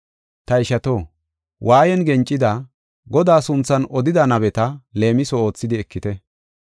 Ta ishato, waayan gencida, Godaa sunthan odida nabeta leemiso oothidi ekite.